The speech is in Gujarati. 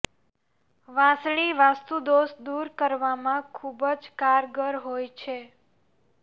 વાંસળી વાસ્તુદોષ દુર કરવામાં ખુબ જ કારગર હોય છે